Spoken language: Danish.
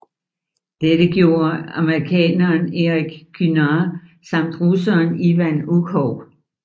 Dette gjorde amerikaneren Erik Kynard samt russeren Ivan Ukhov